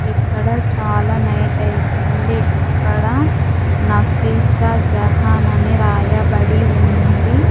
ఇక్కడ చాలా నైట్ అయిపోయింది ఇక్కడ నఫీసా జహాన్ అని రాయబడి ఉంది.